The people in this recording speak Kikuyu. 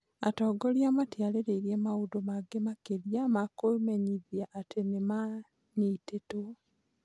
Atongoria matiarĩirie maũndũ maingĩ makĩria ma kũmenyithia atĩ nĩ maanyitĩtwo.